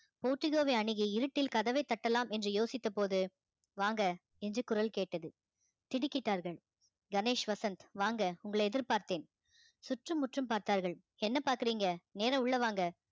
portico வை அணுகி இருட்டில் கதவைத் தட்டலாம் என்று யோசித்தபோது வாங்க என்று குரல் கேட்டது திடுக்கிட்டார்கள் கணேஷ் வசந்த் வாங்க உங்களை எதிர்பார்த்தேன் சுற்றும் முற்றும் பார்த்தார்கள் என்ன பாக்குறீங்க நேர உள்ள வாங்க